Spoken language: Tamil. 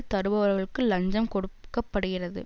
தருபவர்களுக்கு லஞ்சம் கொடுக்க படுகிறது